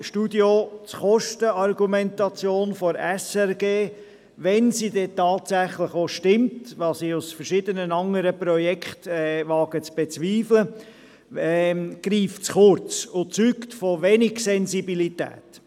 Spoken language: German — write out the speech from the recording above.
Das Kostenargument der SRG – wenn es denn tatsächlich stimmt, was ich aufgrund verschiedener anderer Projekte zu bezweifeln wage – greift zu kurz und zeugt von wenig Sensibilität.